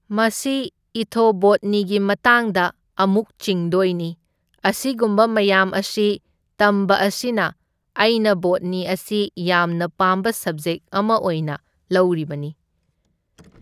ꯃꯁꯤ ꯏꯊꯣꯕꯣꯠꯅꯤꯒꯤ ꯃꯇꯥꯡꯗ ꯑꯃꯨꯛ ꯆꯤꯡꯗꯣꯏꯅꯤ, ꯑꯁꯤꯒꯨꯝꯕ ꯃꯌꯥꯝ ꯑꯁꯤ ꯇꯝꯕ ꯑꯁꯤꯅ ꯑꯩꯅ ꯕꯣꯠꯅꯤ ꯑꯁꯤ ꯌꯥꯝꯅ ꯄꯥꯝꯕ ꯁꯕꯖꯦꯛ ꯑꯃ ꯑꯤꯢꯅ ꯂꯧꯔꯤꯕꯅꯤ꯫